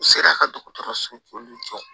U sera ka dɔgɔtɔrɔso jɔ